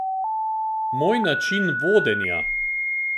Moj način vodenja?